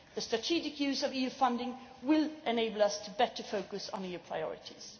The strategic use of EU funding will enable us to better focus on EU priorities.